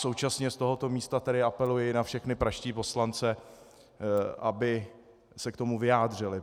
Současně z tohoto místa tedy apeluji na všechny pražské poslance, aby se k tomu vyjádřili.